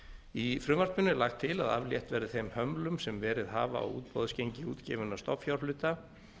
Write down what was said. í frumvarpinu er lagt til að aflétt verði þeim hömlum sem verið hafa á útboðsgengi útgefinna stofnfjárhluta